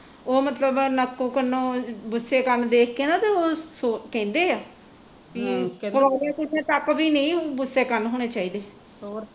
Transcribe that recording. ਉਹ ਮਤਲਬ ਨੱਕ ਕੰਨੋਂ ਦੇਖ ਕੇ ਨਾ ਤੇ ਕਹਿੰਦੇ ਆ ਗੁਸਏ ਕੰਨ ਹੋਣੇ ਚਾਹੀਦੇ